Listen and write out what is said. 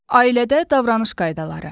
Ailədə davranış qaydaları.